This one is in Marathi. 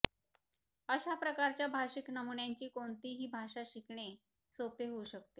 अशा प्रकारच्या भाषिक नमुन्यांची कोणतीही भाषा शिकणे सोपे होऊ शकते